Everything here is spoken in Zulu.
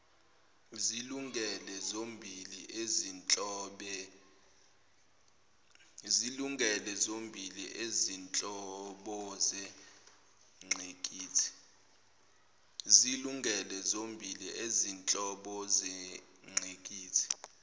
zilungele zombili izinhlobozengqikithi